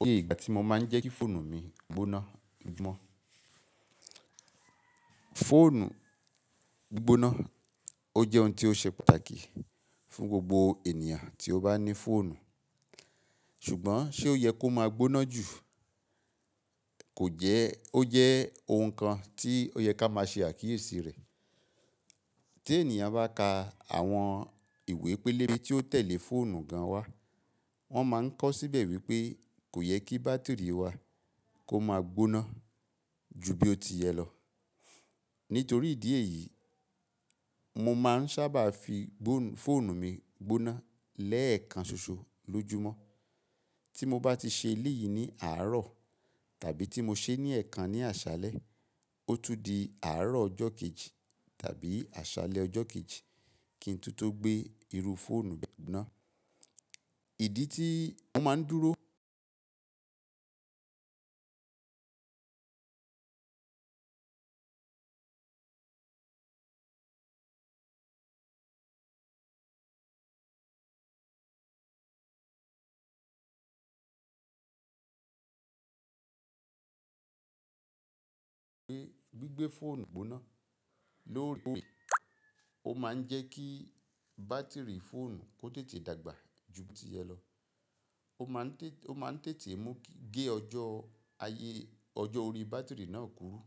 O yẹ ìgbà tí mo máa ń jẹ́ kí fóònù mi gbóná gbígbọ́. Fóònù gbóná, ó jẹ́ ohun tí ó ṣe pàtàkì fún gbogbo ènìyàn tí ó bá ní fóònù. Ṣùgbọ́n ṣe ó yẹ kó máa gbóná jù? Kò jẹ́, ó jẹ́ ohun kan tí ó yẹ ká máa ṣe àkíyèsí rẹ̀. Tí ènìyàn bá ka àwọn ìwé pélébé tí ó tẹ̀lé fóònù gan wa, wọ́n máa ń kọ́ síbẹ̀ wípé kò yẹ kí bátírì wa kó máa gbóná ju bí ó ti yẹ lọ. Nítorí ìdí èyí, mo máa ń sábà fi fóònù mi gbóná lẹ́ẹ̀kan ṣoṣo lójúmọ́. Tí mo bá ti ṣe léyìí ní àárọ̀ tàbí tí mo ṣe ní ẹ̀ẹ̀kan ní àṣálẹ́, ó tún di àárọ̀ ọjọ́ kejì tàbí àṣálẹ́ ọjọ́ kejì kí n tó tó gbé irú fóònù gbóná. Ìdí tí mo máa ń dúró wípé gbí gbé fóònù gbóná lóore kooré, ó máa ń jẹ́ kí bátírì fóònù kó tètè dàgbà ju bí ó ti yẹ lọ. Ó máa ń tètè mú gé ọjọ́ ayé ọjọ́ orí bátírì náà kúrú.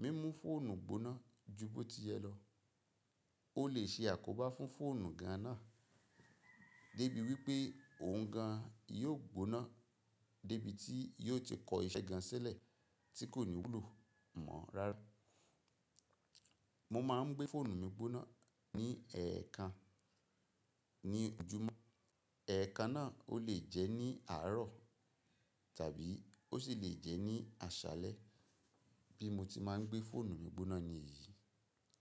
Mímú fóònù gbóná ju bí ó ti yẹ lọ ó lè ṣe àkóbá fún fóònù gan náà débi wípé òun gan yóò gbóná débi tí yóò ti kọ iṣẹ́ gan sílẹ̀ tí kò ní wúlò mọ́ rárá. Mo máa ń gbé fóònù mi gbóná ní ẹ̀ẹ̀kan ní ojúmọ́. Ẹ̀ẹ̀kan náà ó lè jẹ́ ní àárọ̀ tàbí ó sì lè jẹ́ ní àṣálẹ́ bí mo ti máa ń gbé fóònù mi gbóná níyìí.